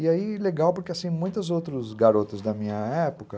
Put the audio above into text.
E aí, legal, porque assim, muitos outros garotos da minha época...